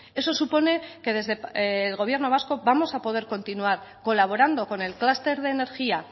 eso supone que desde el gobierno vasco vamos a poder continuar colaborando con el clúster de energía